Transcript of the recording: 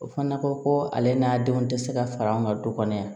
O fana ko ko ale n'a denw tɛ se ka fara an ka du kɔnɔ yan